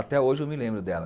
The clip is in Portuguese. Até hoje eu me lembro dela.